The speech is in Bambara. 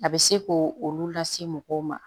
A bɛ se k'o olu lase mɔgɔw ma